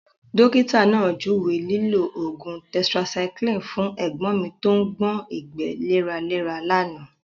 Dókítà náà juwe lilo oogun tẹtirasyclini fún ẹ̀gbọ́n mi tó ń gbé ìgbẹ́ léraléra lánàá.